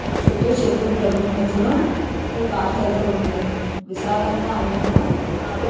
చుట్టూ చెట్లు ప్రకృతి మధ్యలో ఈ పార్క్ అయితే ఉంది విశాలంగా అందంగా--